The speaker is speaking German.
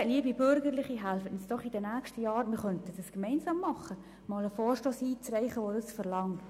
Bitte, liebe Bürgerliche, helfen Sie uns doch einmal in den kommenden Jahren, einen Vorstoss einzureichen, der das verlangt.